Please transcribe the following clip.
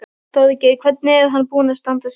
Þorgeir: Hvernig er hann búinn að standa sig?